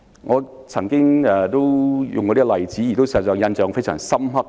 我曾經舉出一個令人印象非常深刻的例子。